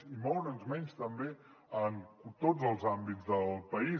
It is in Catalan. i moure’s menys també en tots els àmbits del país